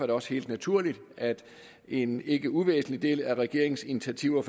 det også helt naturligt at en ikke uvæsentlig del af regeringens initiativer